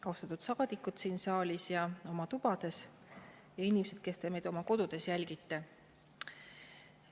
Austatud saadikud siin saalis ja oma tubades ning inimesed, kes te meid oma kodudes jälgite!